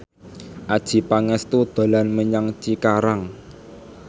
Adjie Pangestu dolan menyang Cikarang